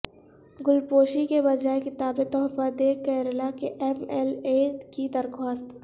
گلپوشی کے بجائے کتابیں تحفہ دیں کیرالا کے ایم ایل اے کی درخواست